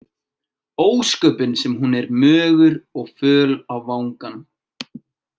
Ósköpin sem hún er mögur og föl á vangann.